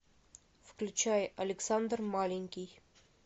включай александр маленький